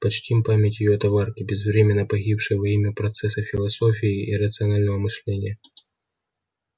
почтим память её товарки безвременно погибшей во имя процесса философии и рационального мышления